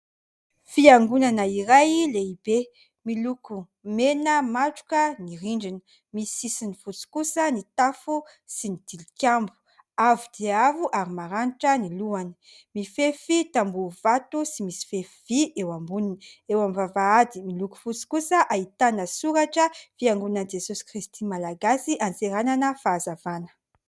Fiangonana iray kely tsy lehibe